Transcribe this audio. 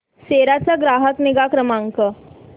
सेरा चा ग्राहक निगा क्रमांक